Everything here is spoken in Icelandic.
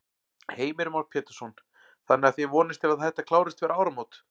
Heimir Már Pétursson: Þannig að þið vonist til að þetta klárist fyrir áramót?